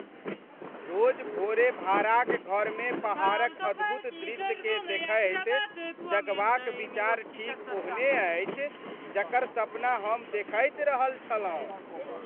रोज भोरे भाड़ाक घरमे पहाड़क अद्भुत दृश्यकेँ देखैत जगबाक विचार ठीक ओहने अछि जकर सपना हम देखैत रहल छलहुँ।